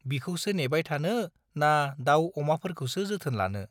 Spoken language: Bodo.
बिखौसो नेबाय थानो ना दाउ अमाफोरखौसो जोथोन लानो।